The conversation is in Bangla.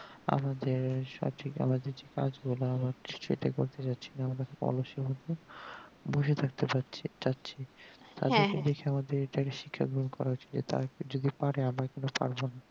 আমাদের সঠিক আমাদের যে কাজ গুলা সেটা করতে পারছিনা আমাদের অবস্যই বসে থাকতে পাচ্ছি চাচ্ছি সাহায্যে শিক্ষা গ্রহণ করার জন্য তারা যদি পারে আমরা কেন পারবোনা